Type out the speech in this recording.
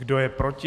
Kdo je proti?